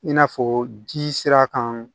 I n'a fɔ ji sira kan